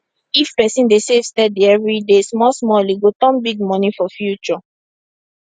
if person dey save steady every day small small e go turn big money for future